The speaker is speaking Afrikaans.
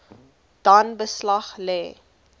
dan beslag lê